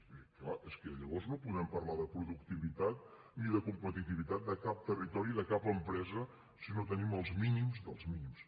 vull dir clar és que llavors no podem parlar de productivitat ni de competitivitat de cap territori de cap empresa si no tenim els mínims dels mínims